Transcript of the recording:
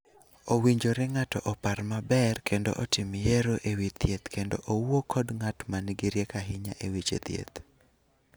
Owinjore ng�ato opar maber kendo otim yiero e wi thieth kendo owuo kod ng�at ma nigi rieko ahinya e weche thieth.